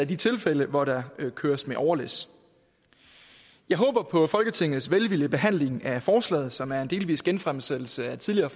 de tilfælde hvor der køres med overlæs jeg håber på folketingets velvillige behandling af forslaget som er en delvis genfremsættelse af et tidligere